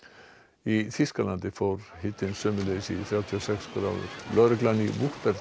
í Þýskalandi fór hitinn sömuleiðis upp í þrjátíu og sex gráður lögreglan í